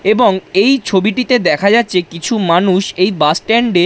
এবং এই ছবিটিতে দেখা যাচ্ছে কিছু মানুষ এই বাস স্ট্যান্ড -এ--